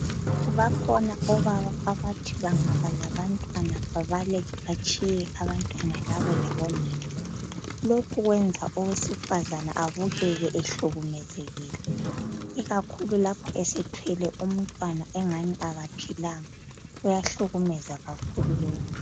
Bakhona obaba abathi bengaba labantwana babaleke betshiye abantwana labo labonina, lokhu kwenza owesifazana abukeke ehlukemezile ikakhulu lapha esethwele umntwana ngathi kaphilanga, kuyahlukumeza kakhulu lokhu.